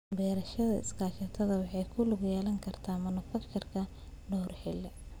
Beerashada iskaashatada waxay ku lug yeelan kartaa monoculture dhowr xilli.